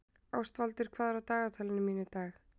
Ástvaldur, hvað er í dagatalinu í dag?